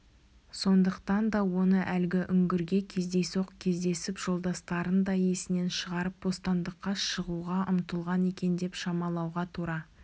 сондықтан да оны әлгі үңгірге кездейсоқ кездесіп жолдастарын да есінен шығарып бостандыққа шығуға ұмтылған екен деп шамалауға тура